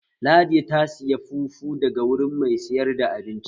Ladi ta saya fufu daga wuri mai sayar da abinci